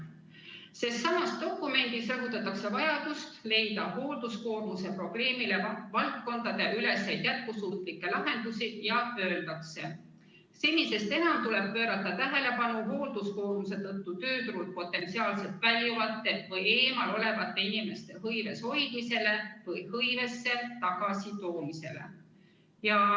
Sellessamas dokumendis rõhutatakse vajadust leida hoolduskoormuse probleemile valdkondadeüleseid jätkusuutlikke lahendusi ja öeldakse: "Senisest enam tuleb pöörata tähelepanu hoolduskoormuse tõttu tööturult potentsiaalselt väljuvate või eemal olevate inimeste hõives hoidmisele või hõivesse tagasi toomisele.